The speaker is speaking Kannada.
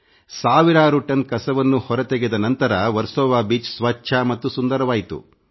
ಸಾವಿರಾರು ಟನ್ ಕಸವನ್ನು ಹೊರತೆಗೆದ ನಂತರ ವರ್ಸೊವ ಬೀಚ್ ಸ್ವಚ್ಛ ಮತ್ತು ಸುಂದರವಾಯಿತು